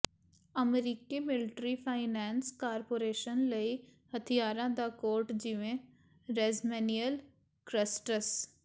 ਅਮਰੀਕੀ military finance corporation ਲਈ ਹਥਿਆਰਾਂ ਦਾ ਕੋਟ ਜਿਵੇਂ ਰੈਜਮੈਨਿਅਲ ਕ੍ਰਸਟਸ